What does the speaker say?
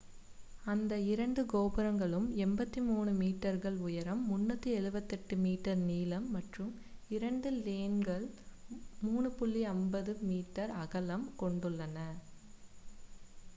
அந்த இரண்டு கோபுரங்களும் 83 மீட்டர்கள் உயரம் 378 மீட்டர் நீளம் மற்றும் இரண்டு லேன்கள் 3.50 மீ அகலம் கொண்டுள்ளன